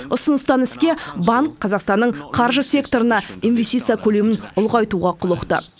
ұсыныстан іске банк қазақстанның қаржы секторына инвестиция көлемін ұлғайтуға құлықты